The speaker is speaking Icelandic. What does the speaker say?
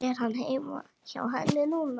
Er hann hjá henni núna?